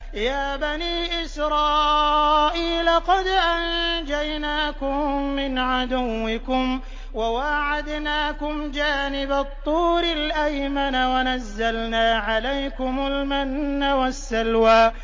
يَا بَنِي إِسْرَائِيلَ قَدْ أَنجَيْنَاكُم مِّنْ عَدُوِّكُمْ وَوَاعَدْنَاكُمْ جَانِبَ الطُّورِ الْأَيْمَنَ وَنَزَّلْنَا عَلَيْكُمُ الْمَنَّ وَالسَّلْوَىٰ